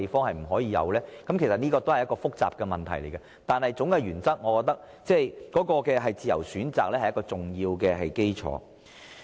這是一個很複雜的問題，但我認為總體原則仍是以自由選擇作為一個重要基礎。